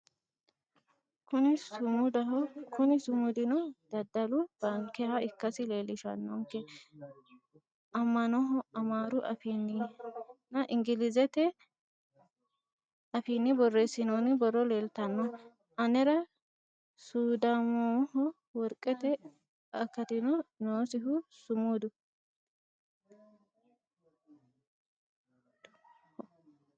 kuni sumudaho kuni sumudino dadalu bankeha ikkasi leellishshannonke amnaho amaaru afiinnina engilizete afiinni borreessinoonni borro leltannoe anera suduudaamoho worqete akatino noosiho sumudu